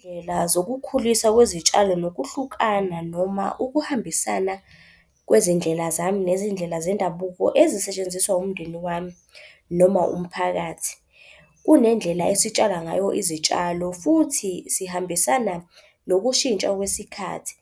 Izindlela zokukhulisa kwezitshalo nokuhlukana noma ukuhambisana kwezindlela zami nezindlela zendabuko ezisetshenziswa umndeni wami noma umphakathi. Kunendlela esitshala ngayo izitshalo futhi sihambisana nokushintsha kwesikhathi.